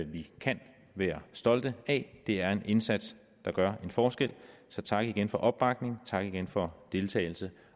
vi kan være stolte af det er en indsats der gør en forskel så tak igen for opbakningen tak igen for deltagelsen